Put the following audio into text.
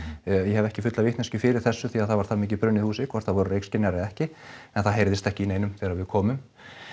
ég hef ekki fulla vitneskju fyrir þessu því það var það mikið brunnið húsið hvort það voru reykskynjarar eða ekki en það heyrðist ekki í neinum þegar við komum